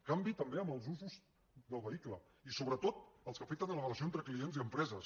canvi també en els usos del vehicle i sobretot els que afecten la relació entre clients i empreses